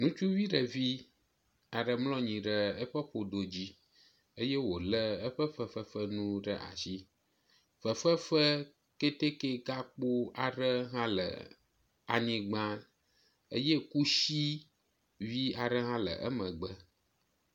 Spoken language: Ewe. ŋutsuvi ɖevi aɖe mlɔ anyi ɖe eƒe ƒodo dzi eye wóle eƒe fefefenuwo ɖe asi fefefee kɛtɛkɛ gakpó hã le anyigbã eye kusi vi aɖe hã le emegbe